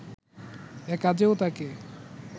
এ কাজেও তাকে